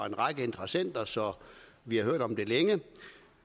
en række interessenter så vi har hørt om det længe